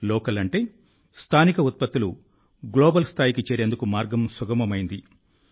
local అంటే స్థానిక ఉత్పత్తులు గ్లోబల్ స్థాయికి చేరేందుకు మార్గం సుగమమైంది